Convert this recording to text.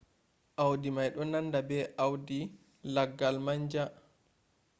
audi mai do nanda be audi laggal manja